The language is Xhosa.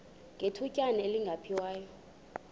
ngethutyana elingephi waya